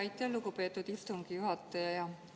Aitäh, lugupeetud istungi juhataja!